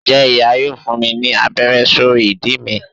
njẹ iya yóò fún mí ní abère sorí ìdí mí